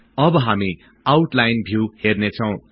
अब हामी outline view हर्नेछौं